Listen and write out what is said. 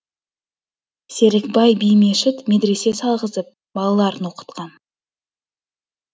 серікбай би мешіт медресе салғызып балаларын оқытқан